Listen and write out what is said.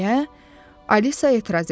deyə Alisa etiraz elədi.